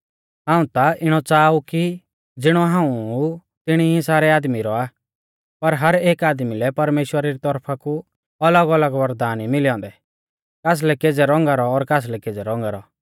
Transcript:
हाऊं ता इणौ च़ाहा ऊ कि ज़िणौ हाऊं ऊ तिणी सारै आदमी रौआ पर हर एक आदमी लै परमेश्‍वरा री तौरफा कु अलगअलग वरदान ई मिलै औन्दै कासलै केज़ै रौंगा रौ और कासलै केज़ै रौंगा रौ